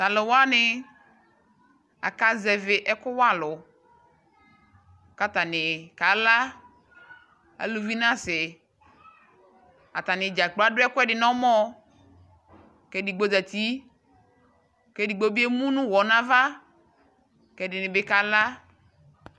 Talu wane aka zɛvi ɛku wa alu ka tane ka la, aluvi naseAtane dzakplo ado ɛkuɛde nɔmɔɔ ke digbo zati ke digbo be emu no uwɔ nava ke ɛde ne be ka la